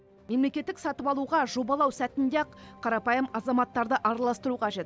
мемлекеттік сатып алуға жобалау сәтінде ақ қарапайым азаматтарды араластыру қажет